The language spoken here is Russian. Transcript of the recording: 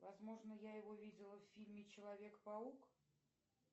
возможно я его видела в фильме человек паук